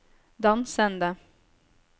dansende